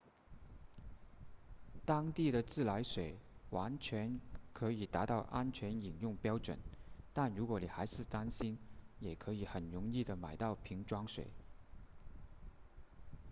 当地的自来水完全可以达到安全饮用标准但如果你还是担心也可以很容易地买到瓶装水